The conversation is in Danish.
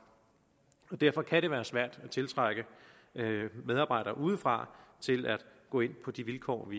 og derfor kan det være svært at tiltrække medarbejdere udefra til at gå ind på de vilkår